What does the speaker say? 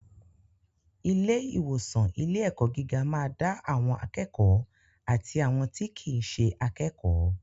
Ilé ìwòsan ilé ẹ̀kọ́ gíga ma da àwọn akékòó àti àwọn tí kìí ṣe akékòó.